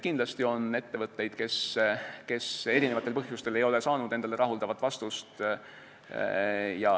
Kindlasti on ettevõtteid, kes eri põhjustel ei ole saanud rahuldavat vastust.